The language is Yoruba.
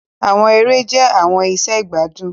Àwọn èrè jẹ̀ àwọn ìṣẹ̀ igbadun.